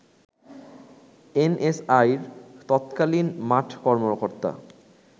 NSI র তৎকালীন মাঠ কর্মকর্তা